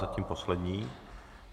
Zatím poslední.